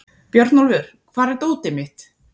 Björnólfur, hvar er dótið mitt?